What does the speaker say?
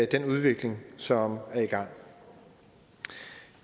den udvikling som er i gang